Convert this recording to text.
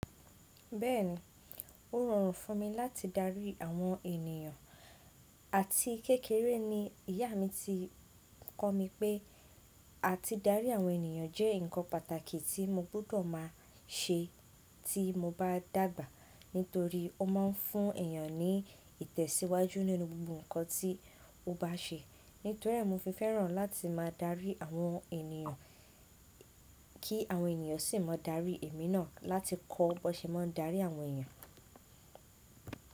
Bẹ́ẹ̀ni, ó rọrùn fún mi láti darí àwọn ènìyàn àti kékeré ni ìyá mi ti kọ́ mi pé àti darí àwọn ènìyàn jẹ́ ǹkan pàtàkì tí mo gbọ́dọ̀ máa ṣe tí mo bá dàgbà nítorí ó máa ń fún èèyàn ní ìtẹ̀síwájú nínú gbogbo ǹkan tí ó bá ṣe. Nítorí ẹ̀ mo fi fẹ́ràn láti máa darí àwọn ènìyàn kí àwọn ènìyàn sì máa darí èmi náà láti kọ́ ọ bọ́ ṣe máa ń darí àwọn ènìyàn.